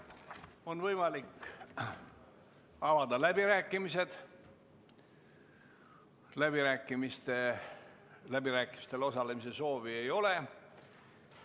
On võimalik avada läbirääkimised, aga ka läbirääkimistel osalemise soovi ei ole.